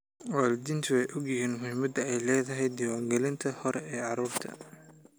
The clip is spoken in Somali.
Waalidiintu way ogyihiin muhiimadda ay leedahay diiwaangelinta hore ee carruurta.